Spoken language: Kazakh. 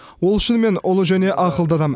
ол шынымен ұлы және ақылды адам